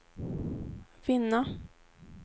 vinna